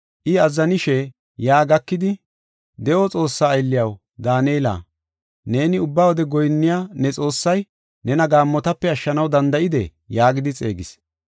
I azzanishe yaa gakidi, “De7o Xoossaa aylliyaw, Daanela, neeni ubba wode goyinniya ne Xoossay, nena gaammotape ashshanaw danda7idee?” yaagidi xeegis.